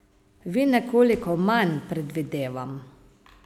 Vi nekoliko manj, predvidevam.